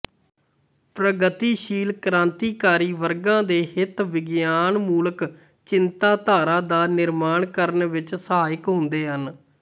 ਪ੍ਰਗਤੀਸ਼ੀਲ ਕ੍ਰਾਂਤੀਕਾਰੀ ਵਰਗਾਂ ਦੇ ਹਿੱਤ ਵਿਗਿਆਨਮੂਲਕ ਚਿੰਤਨਧਾਰਾ ਦਾ ਨਿਰਮਾਣ ਕਰਨ ਵਿੱਚ ਸਹਾਇਕ ਹੁੰਦੇ ਹਨ